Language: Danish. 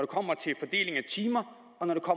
kommer til fordeling af timer